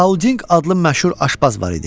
Paulding adlı məşhur aşbaz var idi.